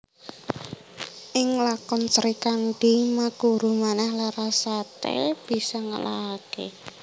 Ing lakon Srikandhi Maguru Manah Larasati bisa ngalahake